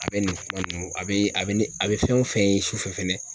A be nin fura nunnu a be a be ni a be fɛn wo fɛn ye su fɛ fɛnɛ